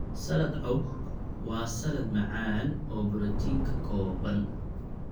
Salad cobb waa salaad macaan oo borotiin ka kooban.